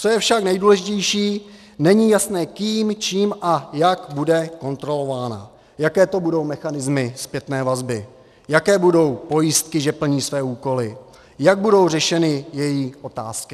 Co je však nejdůležitější, není jasné kým, čím a jak bude kontrolována, jaké to budou mechanismy zpětné vazby, jaké budou pojistky, že plní své úkoly, jak budou řešeny její otázky.